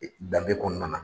Danbe kɔnɔna na.